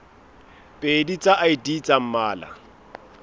pedi tsa id tsa mmala